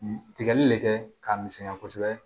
Tigɛli de kɛ k'a misɛnya kosɛbɛ